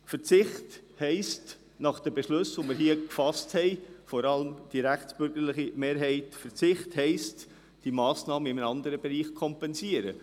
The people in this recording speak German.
Verzicht heisst gemäss den Beschlüssen, die hier vor allem die rechtsbürgerliche Mehrheit gefasst haben, die Massnahme in einem anderen Bereich zu kompensieren.